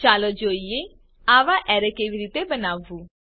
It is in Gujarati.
ચાલો જોઈએ આવા અરે કેવી રીતે બનાવવું